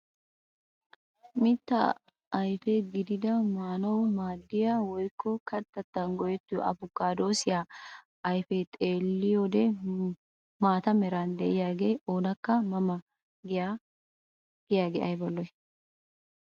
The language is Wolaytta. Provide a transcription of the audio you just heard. Mitta ayfe gidida maanawu maaddiyaa woykko kattatan go"ettiyoo apikaadoosiyaa ayfiyaa xeelliyoode maata meraara de'iyaage oonakka ma ma giyaagee ayba lo"ii!